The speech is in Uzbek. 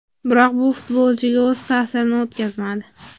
Biroq bu futbolchiga o‘z ta’sirini o‘tkazmadi.